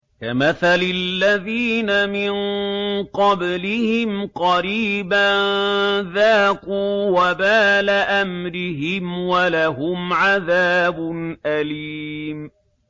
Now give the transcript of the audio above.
كَمَثَلِ الَّذِينَ مِن قَبْلِهِمْ قَرِيبًا ۖ ذَاقُوا وَبَالَ أَمْرِهِمْ وَلَهُمْ عَذَابٌ أَلِيمٌ